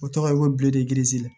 O tɔgɔ ye ko bilen de kirizi